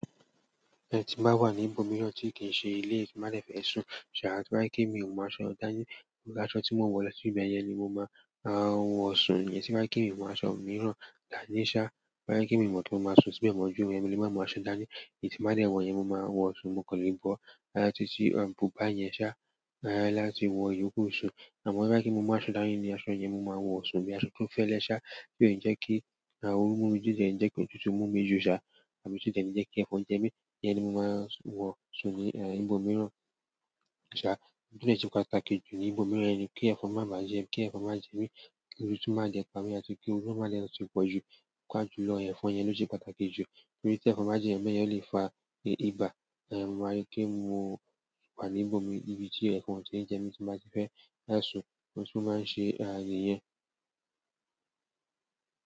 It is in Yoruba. Ẹ ti ba wa ní ìbòmíràn tí kì í ṣe ilé tí màá fẹ́ sùn, ṣà, tí bá kí mu, mo máa sọ dání pé aṣọ tí mo ń wọ lọ sí ibẹ̀ yẹn ni mo máa ń wọ̀ sùn. Ẹni tí wá kí mi, mo máa sọ òmíràn dàní ṣá, wá kí mi mọ̀ pé mo máa sùn síbẹ̀, májù mú ẹmi, mo máa sọ dání èyí tí màá dẹ̀ wọ̀ yẹn ni mo máa wọ̀ sùn, mo kò lè bọ́ ara títí àǹbúbà yẹn ṣá láti wọ ìyokù sùn. Àmọ́ bí wá kí mi, mo máa sọ dání pé aṣọ yẹn ni mo máa wọ̀ sùn orí aṣọ tó fẹ́lẹ́ ṣá, kí ó yẹn jẹ́ kí òru mú mi jíjẹ, jẹ́ kí òtútù mú mi jù ṣà, àbí jẹ́ kí ẹ̀fọn jẹ mí, ẹni ni mo máa ń wọ̀ sùn ní ìbòmíràn ṣá. Ikan to se pàtàkì ju nibo miran ni ki efon ma je mi, àti ki oru ma ti poju, efon yen lo se pàtàkì ju nítorí ti efon ba je mi ole fa iba. A máa rí pé mo wà ní ìbòmíràn ibi tí ẹ̀fọn jẹ́ ní jẹ mí tí màá ti fẹ́ dá sùn, ohun tún máa ń ṣe ààyè yẹn.